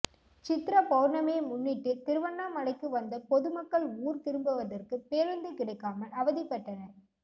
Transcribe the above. சித்ரா பௌர்ணமியை முன்னிட்டு திருவண்ணாமலைக்கு வந்த பொது மக்கள் ஊர் திரும்பவதற்கு பேருந்து கிடைக்காமல் அவதிப்பட்டனர்